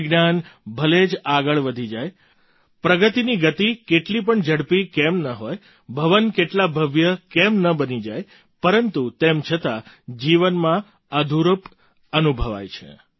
વિજ્ઞાન ભલે જ આગળ વધી જાય પ્રગતિની ગતિ કેટલી પણ ઝડપી કેમ ન હોય ભવન કેટલાં ભવ્ય કેમ ન બની જાય પરંતુ તેમ છતાં જીવનમાં અધૂરપ અનુભવાય છે